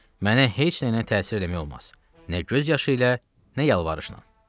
Mənə heç nəylə təsir eləmək olmaz, nə göz yaşı ilə, nə yalvarışla.